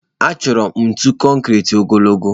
Achọrọ m ntu konkiri ogologo